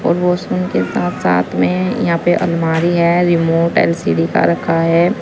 और वाशरूम के साथ में यहां पे अलमारी है रिमोट एल_सी_डी का रखा है।